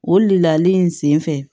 O lali in sen fɛ